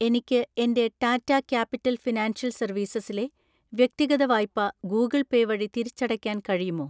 എനിക്ക് എൻ്റെ Tata Capital Financial Services ലെ വ്യക്തിഗത വായ്പ ഗൂഗിൾ പേ വഴി തിരിച്ചടയ്ക്കാൻ കഴിയുമോ?